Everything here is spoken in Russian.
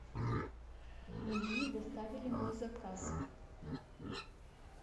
мне не доставили мой заказ